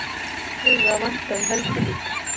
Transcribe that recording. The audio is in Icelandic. Tíðinda að vænta í Helguvík